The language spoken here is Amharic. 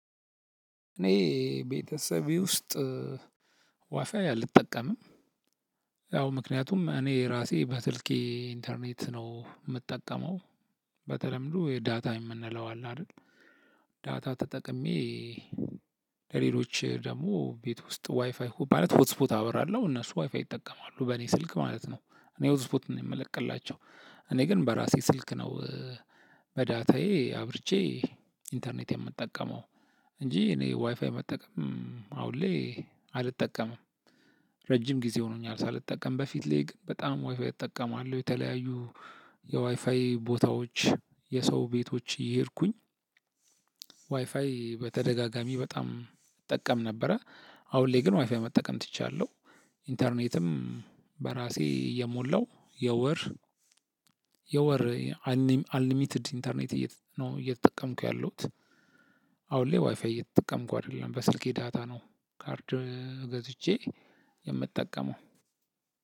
እኔ ቤተሰቤ ውስጥ ዋፋይ አልጠቀምም ያው ምክንያቱም እኔ ራሴ በስልኬ ኢንተርኔት ነው የምጠቀመው። በተለምዶ የዳታ የምንለው አለ አይደል? ዳታ ተጠቅሜ። ለሌሎች ደግሞ ቤት ውስጥ ዋይፋይ ማለት ሆት ስፖት አበራለሁ እነሱ ዋይፋይ ይጠቀማሉ በእኔ ስልክ ማለት ነው። እኔ ሆት ስፖት ነው የምለቅላቸው። እኔ ግን በራሴ ስልክ ነው። በዳታዬ አብርቼ ኢንተርኔት የምጠቀመው። እንጂ እኔ ዋይፋይ መጠቀም አሁን ላይ አልጠቀምም። ረጅም ጊዜ ሆኖኛል ሳልጠቀም በፊት ላይ ግን በጣም ዋይፋይ እጠቀማለሁ የተለያዩ የዋይፋይ ቦታዎች የሰው ቤቶች እየሄድኩኝ ዋይፋይ በተደጋጋሚ በጣም እጠቀም ነበረ። አሁን ላይ ግን ዋይፋይ መጠቀም ትቻለሁ። ኢንተርኔትም በራሴ እየሞላው የወር የወር አልሊሚትድ ኢንተርኔት ነው እየተጠቀምኩ ያለሁት። አሁን ላይ ዋይፋይ እየተጠቀምኩ አይደለም በስልኬ ዳታ ነው ካርድ ገዝቼ የምጠቀመው